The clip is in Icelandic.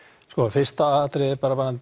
fyrsta atriðið